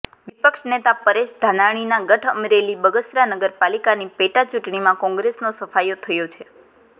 વિપક્ષ નેતા પરેશ ધાનાણીનાં ગઢ અમરેલીમાં બગસરા નગરપાલિકાની પેટાચૂંટણીમાં કોંગ્રેસનો સફાયો થયો છે